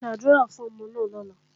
Ṣàdúrà fọ́mọ náà lọ́la!